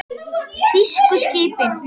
Þýsku skipin.